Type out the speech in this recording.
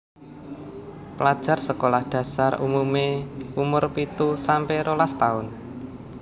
Pelajar sekolah dhasar umumé umur pitu sampe rolas taun